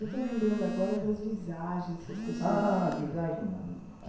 Eu estou lembrando agora das visagens que as pessoas. Ah, visagem não. Ah